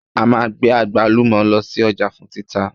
A máa gbé àgbálùmọ̀ lọ sí ọjà fún títà